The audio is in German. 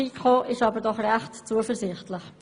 Die FiKo ist jedoch recht zuversichtlich.